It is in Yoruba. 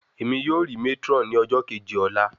Emi yoo ri matron ni ọjọ keji ọla